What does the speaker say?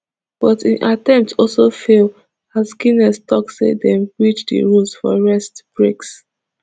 but im attempt also fail as guinness tok say dem breach di rules for rest breaks